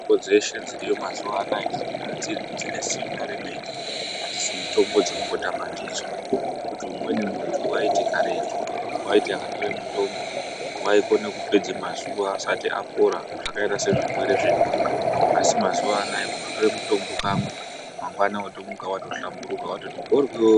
Mitombo dzeshe dziriyo mazuwa anaya dzirikugadzirwa dzine simba remene, adzisi mitombo dzekumbotamba ndidzo ngekuti umweni muntu waiti karetu waiti akatore mutombo waikone kupedza mazuwa asati apora zvakaita sezvirwere zvenhunga asi mazuwa anaya kundotore mutombo kamwe mangwana watomuka watohlamburuka watoti mhoryo.